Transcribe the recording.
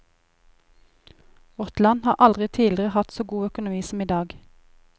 Vårt land har aldri tidligere hatt så god økonomi som i dag.